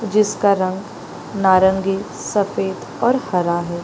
जिसका रंग नारंगी सफ़ेद और हरा है।